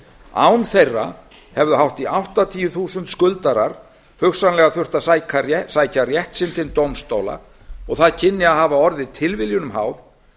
án þeirra hefðu hátt í áttatíu þúsund skuldarar hugsanlega þurft að sækja rétt sinn til dómstóla og það kynni að hafa orðið tilviljunum háð